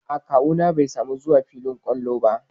A'a kawu na bai samu zuwa filin ƙwallon ba.